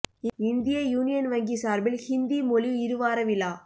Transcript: இந்திய யூனியன் வங்கி சாா்பில் ஹிந்தி மொழி இரு வார விழா